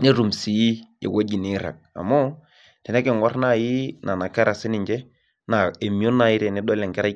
netum sii ewoi niirag amu tenikingur nai nona kera sininche na emion nai tedilo enkerai.